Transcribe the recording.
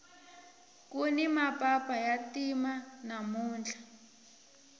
kuni mapapa ya ntima namuntlha